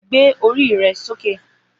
Gbé orí rẹ sókè.